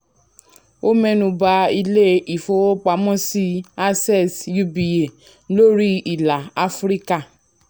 ó mẹ́nu bà ilé ìfowópamọ́sí access uba lórí ilà áfíríkà.